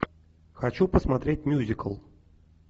хочу посмотреть мюзикл